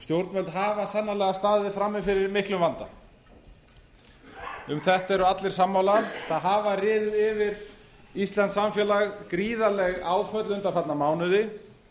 stjórnvöld hafa sannarlega staðið frammi fyrir miklum vanda um þetta eru allir sammála það hafa riðið yfir íslenskt samfélag gríðarleg áföll undanfarna mánuði